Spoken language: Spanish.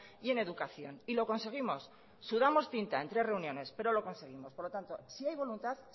y en educación y lo conseguimos sudamos tinta en tres reuniones pero lo conseguimos por lo tanto si hay voluntad